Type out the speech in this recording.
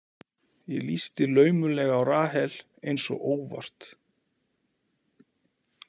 Ég lýsti laumulega á Rahel, eins og óvart.